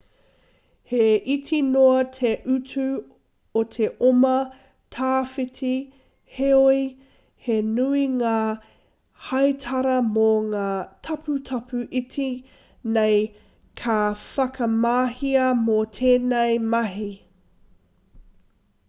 he iti noa te utu o te oma tawhiti heoi he nui ngā heitara mō ngā taputapu iti nei ka whakamahia mō tēnei mahi